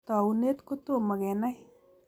Taunet ko tomo kenai.